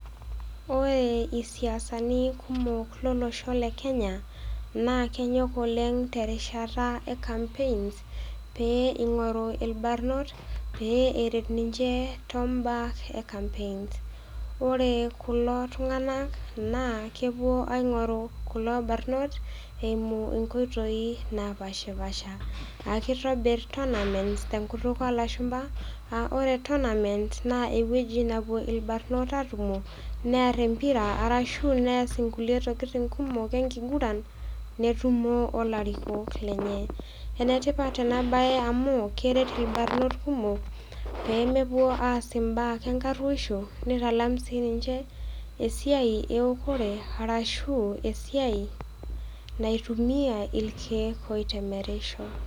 Ore isiasani kumok lolosho le Kenya naa kenyok oleng' te erishata e kampeins, pee eing'oru ilbarnot pee eret ninche too ilomon le kampeins. Ore kulo tung'na naa kepuo aing'oru kulo barnot eimu inkoitoi napaashipaasha. Naa keitobir tournaments te enkutuk oo lashumba , aa ore tournaents naa ewueji napuo ilbarnot aatumo, near empira arashu neas inkulie tokitin kumok enkiguran, netumo o ilarikok lenye. Enetipat ena baye amu keret ilbarnot kumok pee mepuo aas imbaa enkaruoisho, neitalam sii ninche esiai e eokore arashu esiai naitumia ilkeek oitemerisho.